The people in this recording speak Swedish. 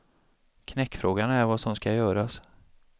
Knäckfrågan är vad som skall göras.